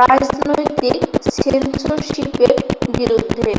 রাজনৈতিক সেন্সরশিপ এর বিরুদ্ধে